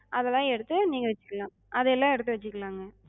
அதெல்லா எடுத்து நீங்க வச்சுக்கலா. அதயெல்ல எடுத்து வச்சுக்கலாங்க.